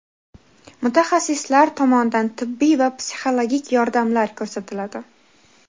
Mutaxassislar tomonidan tibbiy va psixologik yordamlar ko‘rsatiladi.